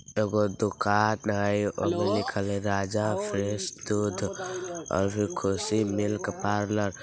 एगो दुकान हेय ओय मे लिखल हेय राजा फ्रेश दूध और खुशी मिल्क पार्लर ।